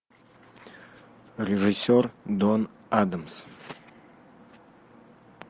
режиссер дон адамс